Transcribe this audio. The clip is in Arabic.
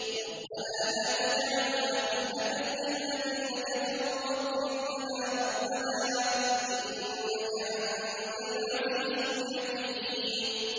رَبَّنَا لَا تَجْعَلْنَا فِتْنَةً لِّلَّذِينَ كَفَرُوا وَاغْفِرْ لَنَا رَبَّنَا ۖ إِنَّكَ أَنتَ الْعَزِيزُ الْحَكِيمُ